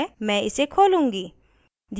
मैं इसे खोलूंगी